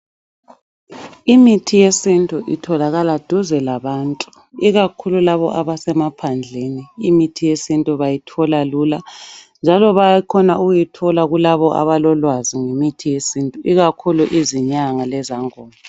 Imithi yesintu itholakala duze labantu ikakhulu labo abasemaphandleni imithi yesintu bayithola lula njalo bayakhona ukuyithola kulabo abalolwazi ngemithi yesintu ikakhulu izinyanga lezangoma.